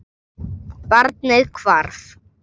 Barnið hvarf.